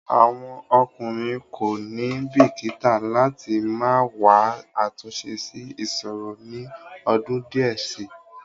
Àwọn ọkùnrin kò ní bìkíta láti máa wá àtúnṣe sí ìṣòro ni ọdún díẹ̀ síi.